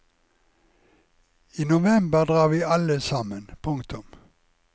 I november drar vi alle sammen. punktum